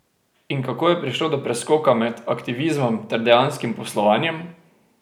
In kako je prišlo do preskoka med aktivizmom ter dejanskim poslovanjem?